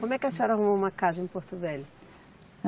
Como é que a senhora arrumou uma casa em Porto Velho?